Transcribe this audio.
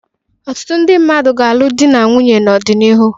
Ọtụtụ ndị mmadụ ga-alụ di na nwunye n'ọdịnihu.